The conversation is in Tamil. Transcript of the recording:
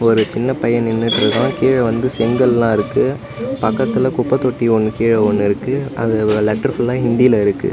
ஒரு சின்ன பைய நின்னுட்ருக்கா கீழ வந்து செங்கல்லா இருக்கு பக்கத்துல குப்பத்தொட்டி ஒன்னு கீழ ஒன்னு இருக்கு அதுல உள்ள லெட்டர் ஃபுல்லா ஹிந்தில இருக்கு.